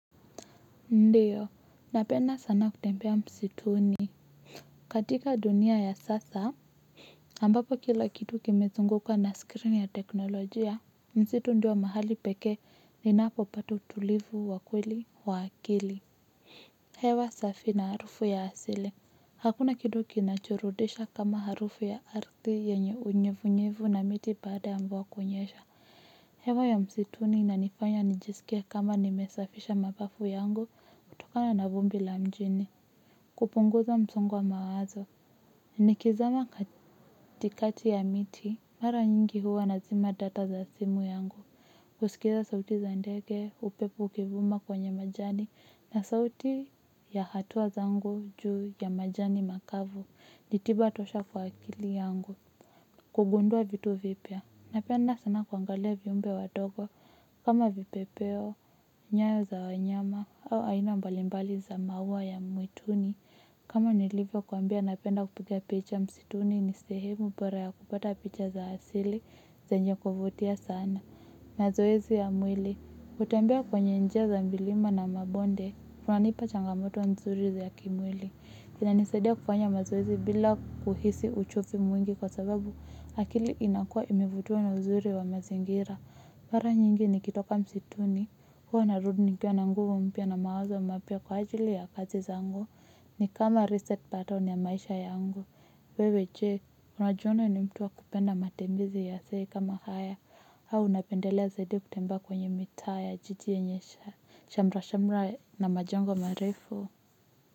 Ndiyo, napenda sana kutembea msituni. Katika dunia ya sasa, ambapo kila kitu kimezunguka na screen ya teknolojia, msitu ndiyo mahali pekee ninapopata utulivu wa kweli wa akili. Hewa safi na harufu ya asili. Hakuna kitu kinachoboresha kama harufu ya ardhi yenye unyevunyevu na miti baada ya mvua kunyesha. Hewa ya msituni inanifanya nijisikie kama nimesafisha mapafu yangu, kutokana na vumbi la mjini. Kupunguza msongo wa mawazo, nikizama katikati ya miti, mara nyingi huwa nazima data za simu yangu. Kusikiza sauti za ndege, upepo ukivuma kwenye majani, na sauti ya hatua zangu juu ya majani makavu, ni tiba tosha kwa akili yangu. Kugundua vitu vipya napenda sana kuangalia viumbe wadogo kama vipepeo nyayo za wanyama au aina mbalimbali za maua ya mwituni kama nilivyokuambia napenda kupiga picha msituni ni sehemu bora ya kupata picha za asili zenye kuvutia sana mazoezi ya mwili kutembea kwenye njia za milima na mabonde kunanipa changamoto nzuri za kimwili kinanisaidia kufanya mazoezi bila kuhisi uchovu mwingi kwa sababu akili inakuwa imevutiwa na uzuri wa mazingira mara nyingi nikitoka msituni huwa narudi nikiwa na nguvu mpya na mawazo mapya kwa ajili ya kazi zangu ni kama reset pattern ya maisha yangu wewe je, unajiona ni mtu wa kupenda matembezi kama haya au unapendelea zaidi kutembea kwenye mitaa ya jiji yenye shamra shamra na majengo marefu.